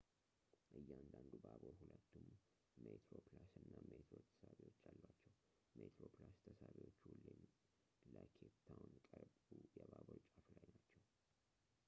እያንዳንዱ ባቡር ሁለቱም ሜትሮፕላስ እና ሜትሮ ተሳቢዎች አሏቸው ሜትሮፕላስ ተሳቢዎቹ ሁሌም ለኬፕ ታውን ቅርቡ የባቡር ጫፍ ላይ ናቸው